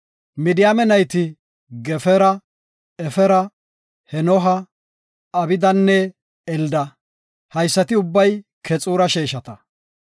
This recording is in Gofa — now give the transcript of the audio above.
Midiyaame nayti Gefera, Efera, Henooha, Abidanne Elda. Haysati ubbay Keexura sheeshata.